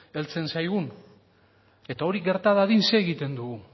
heltzen zaigun eta hori gerta dadin zer egiten dugu